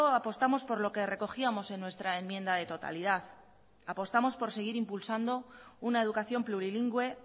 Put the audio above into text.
apostamos por lo que recogíamos en nuestra enmienda de totalidad apostamos por seguir impulsando una educación plurilingüe